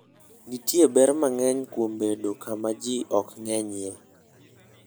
Nitie ber mang'eny kuom bedo kama ji ok ng'enyie.